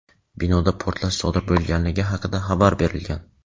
Binoda portlash sodir bo‘lganligi haqida xabar berilgan.